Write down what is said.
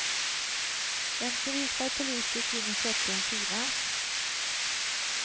En civilklädd polis gick in och köpte en skiva.